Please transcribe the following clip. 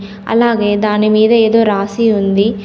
అలాగే దానిమీద ఏదో రాసి ఉంది.